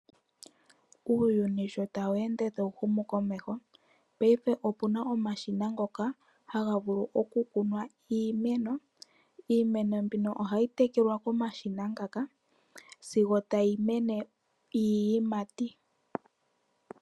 Uuyuni sho tawu ende tawu humu komeho, paife opu na omashina ngoka haga vulu okukuna iimeno. Iimeno mbino ohayi tekelwa komashina ngaka sigo tayi mene iiyimati.